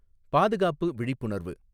பாதுகாப்பு விழிப்புணர்வு